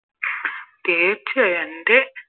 എൻറെ